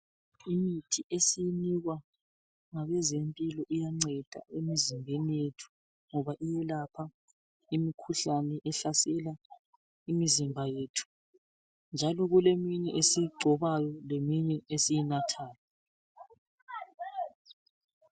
Imithi esiyinikwa ngabezempilo iyanceda emizimbeni yethu ngoba iyelapha Imikhuhlane ehlasela imizimba yethu, njalo kuleminye esiyigcobayo lesiyinathayo.